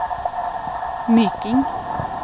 Myking